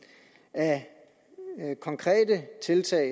af af konkrete tiltag